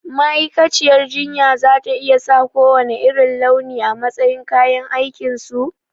Ma'aikaciyar jinya za ta iya sa kowanne irin launi a matsayin kayan aikinsu?